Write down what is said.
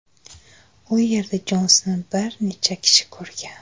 U yerda Jonsni bir necha kishi ko‘rgan.